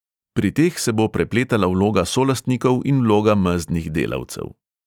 Pri teh se bo prepletala vloga solastnikov in vloga mezdnih delavcev.